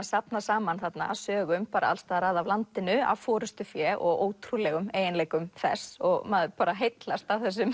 safnað saman sögum alls staðar að af landinu af forystufé og ótrúlegum eiginleikum þess maður heillast af þessum